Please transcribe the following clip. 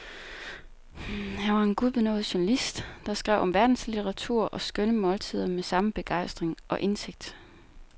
Han var en gudbenådet journalist, der skrev om verdenslitteratur og skønne måltider med samme begejstring og indsigt.